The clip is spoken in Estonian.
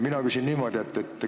Mina küsin niimoodi.